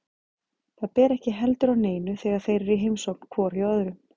Það ber ekki heldur á neinu þegar þeir eru í heimsókn hvor hjá öðrum.